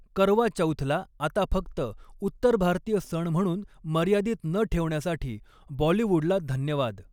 करवा चौथला आता फक्त उत्तर भारतीय सण म्हणून मर्यादित न ठेवण्यासाठी बॉलिवुडला धन्यवाद!